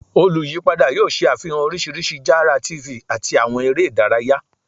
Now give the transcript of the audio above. Oluyipada yoo ṣe afihan oriṣiriṣi jara TV ati awọn ere idaraya